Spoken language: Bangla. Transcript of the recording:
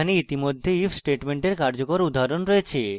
এখানে ইতিমধ্যে if স্টেটমেন্টের কার্যকর উদাহরণ রয়েছে